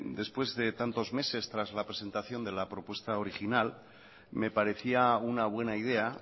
después de tantos meses tras la presentación de la propuesta original me parecía una buena idea